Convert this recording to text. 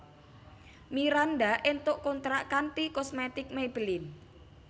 Miranda entuk kontrak kanthi kosmetik Maybelline